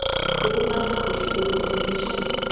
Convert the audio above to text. lokuphathwa kuhle nokuhlonitjhwa